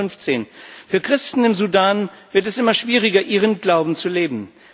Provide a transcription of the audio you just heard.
2015. Für Christen im Sudan wird es immer schwieriger, ihren Glauben zu leben.